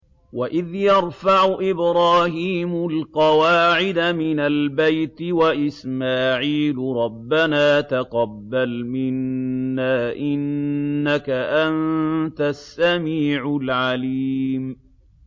وَإِذْ يَرْفَعُ إِبْرَاهِيمُ الْقَوَاعِدَ مِنَ الْبَيْتِ وَإِسْمَاعِيلُ رَبَّنَا تَقَبَّلْ مِنَّا ۖ إِنَّكَ أَنتَ السَّمِيعُ الْعَلِيمُ